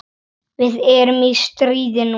Við erum í stríði núna.